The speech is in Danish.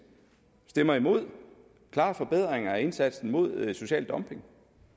stemmer imod klare forbedringer af indsatsen mod social dumping